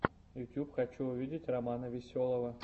ютюб хочу увидеть романа веселого